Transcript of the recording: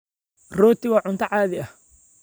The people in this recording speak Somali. Roti waa cunto caadi ah.